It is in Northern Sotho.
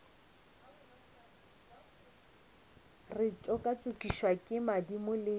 re tšokatšokišwa ke madimo le